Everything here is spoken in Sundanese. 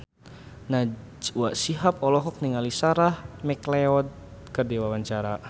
Najwa Shihab olohok ningali Sarah McLeod keur diwawancara